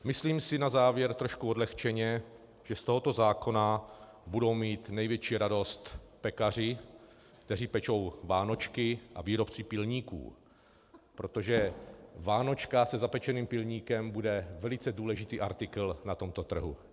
Myslím si na závěr, trochu odlehčeně, že z tohoto zákona budou mít největší radost pekaři, kteří pečou vánočky, a výrobci pilníků, protože vánočka se zapečeným pilníkem bude velice důležitý artikl na tomto trhu.